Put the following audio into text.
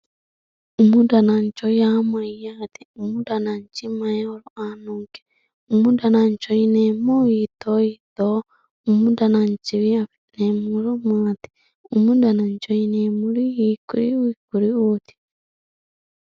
umu danancho yaa mayyaate umu danachi mayi horo aannonke umu danancho yineemmohu hiito hiittooho umu dananchiwi afi'neemmo horo maati umu danancho yineemmori hiikkuriu hiikkuriuuti